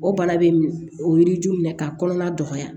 O bana bɛ o yiri ju minɛ ka kɔnɔna dɔgɔya